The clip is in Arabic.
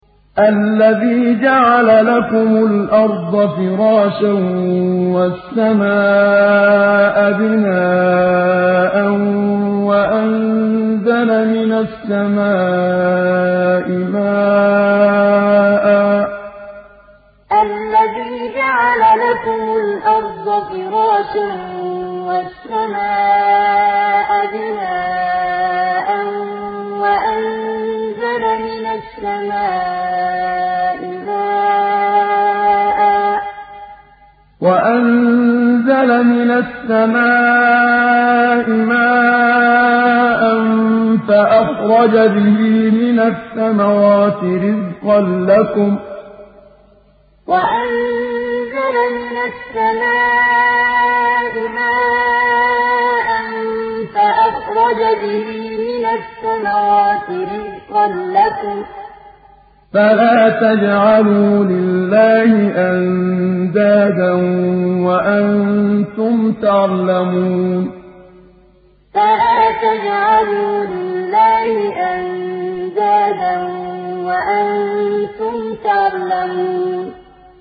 الَّذِي جَعَلَ لَكُمُ الْأَرْضَ فِرَاشًا وَالسَّمَاءَ بِنَاءً وَأَنزَلَ مِنَ السَّمَاءِ مَاءً فَأَخْرَجَ بِهِ مِنَ الثَّمَرَاتِ رِزْقًا لَّكُمْ ۖ فَلَا تَجْعَلُوا لِلَّهِ أَندَادًا وَأَنتُمْ تَعْلَمُونَ الَّذِي جَعَلَ لَكُمُ الْأَرْضَ فِرَاشًا وَالسَّمَاءَ بِنَاءً وَأَنزَلَ مِنَ السَّمَاءِ مَاءً فَأَخْرَجَ بِهِ مِنَ الثَّمَرَاتِ رِزْقًا لَّكُمْ ۖ فَلَا تَجْعَلُوا لِلَّهِ أَندَادًا وَأَنتُمْ تَعْلَمُونَ